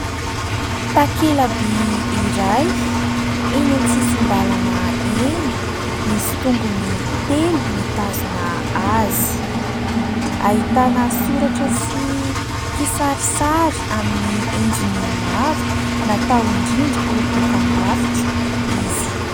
Takela-by iray, eny an-tsisin-dàlana eny, misy tongony telo mitazona azy. Ahitana soratra sy kisarisary amin'ny endriny maro, natao indrindra ho dokambarotra izy.